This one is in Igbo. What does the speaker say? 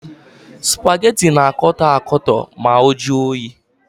Supageti na-akọtọ akọtọ ma ọ juo oyi.